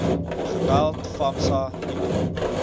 geweld famsa nicro